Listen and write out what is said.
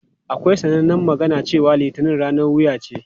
Akwai sanannen magana cewa "Litinin ranar wuya ce".